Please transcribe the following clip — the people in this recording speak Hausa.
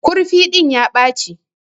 Kurfi din ya Bache.